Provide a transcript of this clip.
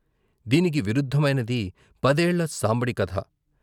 దీనికి విరుద్ధమైనది పదేళ్ళ సాంబడి కథ.